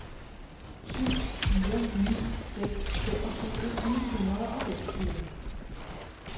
syv fire ni seks femogtyve ni hundrede og femogtyve